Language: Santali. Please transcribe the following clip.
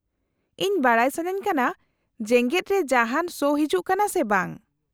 -ᱤᱧ ᱵᱟᱰᱟᱭ ᱥᱟᱹᱱᱟᱹᱧ ᱠᱟᱱᱟ ᱡᱮᱜᱮᱫ ᱨᱮ ᱡᱟᱦᱟᱸᱱ ᱥᱳ ᱦᱤᱡᱩᱜ ᱠᱟᱱᱟ ᱥᱮ ᱵᱟᱝ ᱾